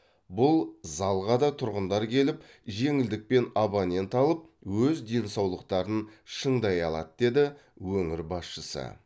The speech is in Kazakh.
бұл залға да тұрғындар келіп жеңілдікпен абонент алып өз денсаулықтарын шыңдай алады деді өңір басшысы